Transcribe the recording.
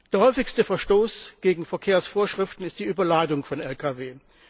Der häufigste Verstoß gegen Verkehrsvorschriften ist die Überladung von Lkws.